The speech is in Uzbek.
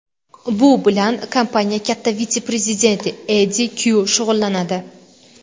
Bu bilan kompaniya katta vitse-prezidenti Eddi Kyu shug‘ullanadi.